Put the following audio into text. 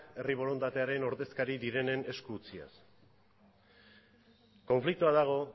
herri borondatearen ordezkari direnen esku utziz konfliktoa dago